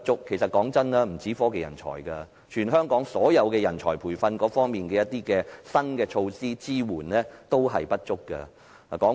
老實說，不僅是科技人才，全香港所有人才培訓的新措施和支援同樣不足。